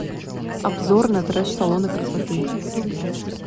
обзор на треш салоны красоты